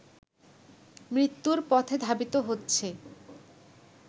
মৃত্যুর পথে ধাবিত হচ্ছে